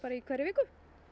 í hverri viku